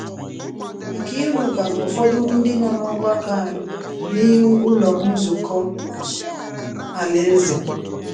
Nkiruka na ụfọdụ ndị nọ n’ọgbakọ anyị, n’ihu Ụlọ Nzukọ Alaeze